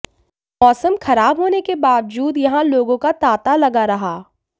मौसम खराब होने के बावजूद यहां लोगों का तांता लगा रहा